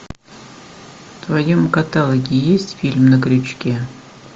в твоем каталоге есть фильм на крючке